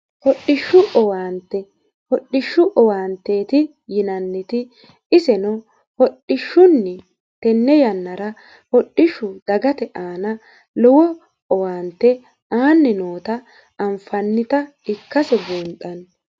Hodhishshu owaante hodhishshu owaanteeti yinanniti iseno hodhishshunni tenne yannara hodhishshu dagate aana lowo owaante aanni noota anfannita ikkase buunxanni